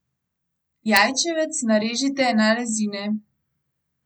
Jajčevec narežite na rezine.